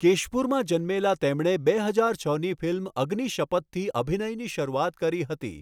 કેશપુરમાં જન્મેલા તેમણે બે હજાર છની ફિલ્મ અગ્નિશપથથી અભિનયની શરૂઆત કરી હતી.